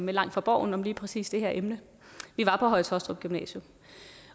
langt fra borgen om lige præcis det her emne vi var på høje taastrup gymnasium